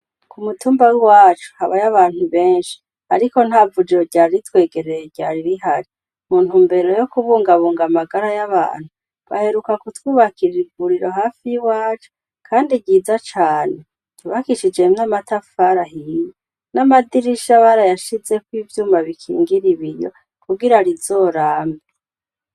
Ku mutumba wi wacu habayo abantu benshi, ariko nta vujuo ryari itwegerere ryari irihari muntu mbere yo kubungabunga amagara y'abantu baheruka ku twubakirira iburiro hafi y'i wacu, kandi ryiza cane tubakishijemwe amatafarahiye n'amadirishabara yashizeko ivyumba bikingira ibiri kugira rizorambe.